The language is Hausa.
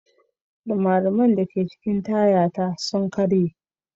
Rimariman da ke cikin taya na sun karye.